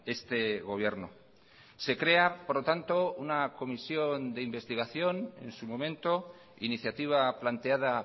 este gobierno se crea por lo tanto una comisión de investigación en su momento iniciativa planteada